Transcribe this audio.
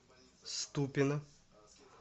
ступино